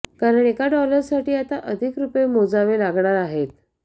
कारण एका डॉलरसाठी आता अधिक रुपये मोजावे लागणार आहेत